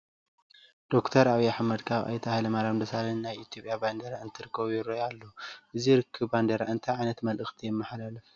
ዶክተር ዓብዪ ኣሕመድ ካብ ኣይተ ሃይለማርያም ደሳለኝ ናይ ኢትዮጵያ ባንዲራ እንትርከቡ ይርአዩ ኣለዉ፡፡ እዚ ርኽኽብ ባንዲራ እንታይ ዓይነት መልእኽቲ የመሓላልፍ?